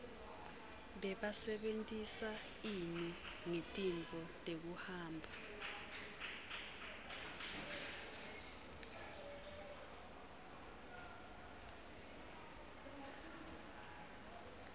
bebasebentisa ini ngetintfo tekuhamba